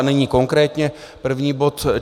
A nyní konkrétně první bod.